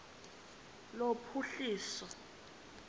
lophuhliso